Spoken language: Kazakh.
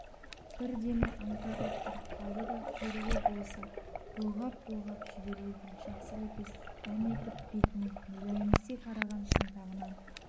бір демі аңтарылып тұрып қалды да құйрығы болса бұлғап-бұлғап жіберердей жақсы лепес дәметіп бетіне мүләйімси қараған шынтағынан